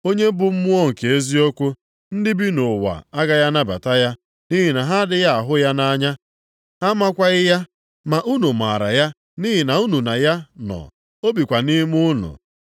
Onye bụ Mmụọ nke eziokwu. Ndị bi nʼụwa agaghị anabata ya, nʼihi na ha adịghị ahụ ya anya, ha amakwaghị ya. Ma unu maara ya nʼihi na unu na ya nọ, o bikwa nʼime unu.